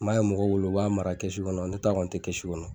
N ba ye mɔgɔw bolo u b'a mara kɔnɔ . Ne ta kɔni te kɔnɔ.